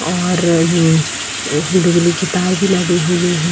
और ये बिजली की तार भी लगी हुए हैं।